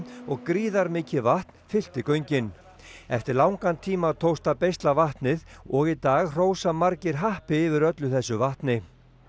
og gríðarmikið vatn fyllti göngin eftir langan tíma tókst að beisla vatnið og í dag hrósa margir happi yfir öllu þessu vatni